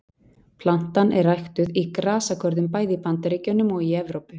Plantan er ræktuð í grasagörðum bæði í Bandaríkjunum og í Evrópu.